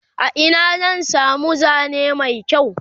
a Ina zan samu Zane Mai kyau?